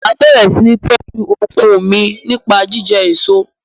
Máa bẹ̀rẹ̀ sini tọju okun mi nípa jíjẹ èso.